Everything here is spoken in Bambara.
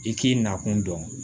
I k'i nakun dɔn